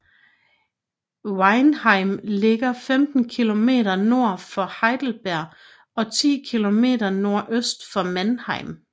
Weinheim ligger 15 km nord for Heidelberg og 10 km nordøst for Mannheim